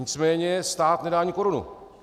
Nicméně stát nedá ani korunu.